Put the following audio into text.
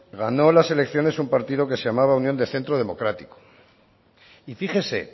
ganó la elecciones un partido que se llamaba unión de centro democrático y fíjese